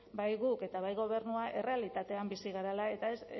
bai gu eta bai gobernua errealitatean bizi garela eta